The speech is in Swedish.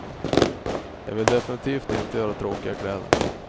Jag vill definitivt inte göra tråkiga kläder.